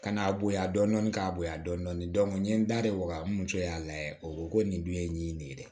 Ka n'a bonya dɔɔni k'a bonya dɔn n ye n da de waga n muso y'a layɛ o ko ko nin dun ye nin ye nin de ye dɛ